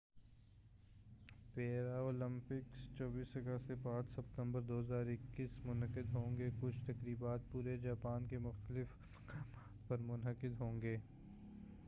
پیرا Olympics 24 اگست سے 5 ستمبر 2021 ء منعقد ہوںگے کچھ تقریبات پورے جاپان کے مختلف مقامات پر منعقد ہوںگے